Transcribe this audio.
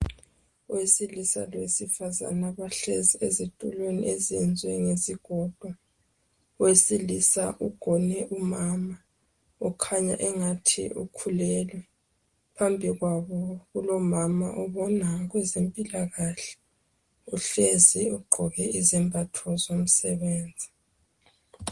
Owesilisa lowesifazane bahlezi ezitulweni ezenziwe ngesigodo , owesilisa ugone umama , ukhanya engathi ukhulelwe , phambi kwabo kulomama obona ngokwezempilakahle , uhlezi ugqoke izembatho zomsebenzi